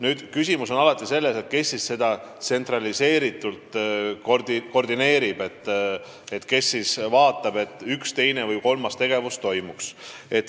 Muidugi on ka küsimus, kes kõike tsentraliseeritult koordineerib, kes vastutab, et üks, teine või kolmas tegevus toimuks.